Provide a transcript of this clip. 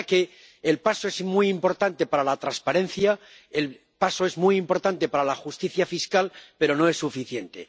de manera que el paso es muy importante para la transparencia, el paso es muy importante para la justicia fiscal, pero no es suficiente.